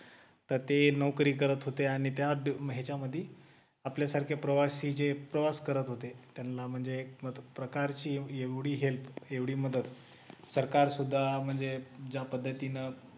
तर ते नोकरी करत होते आणि त्या ह्याच्यामध्ये आपल्यासारखे प्रवासी जे प्रवास करत होते त्यांना म्हणजे एक प्रकारची एवढी help एवढी मदत सरकार सुद्धा म्हणजे ज्या पद्धतीने